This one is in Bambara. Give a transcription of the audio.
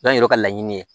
N'a yɛrɛ ka laɲini ye